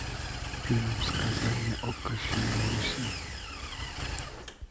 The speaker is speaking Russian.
фильм сказание о крещении руси